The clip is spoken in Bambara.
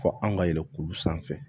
Fɔ an ka yɛlɛ kuru sanfɛ